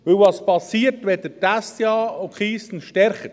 Denn was geschieht, wenn Sie die SDA und die Keystone stärken?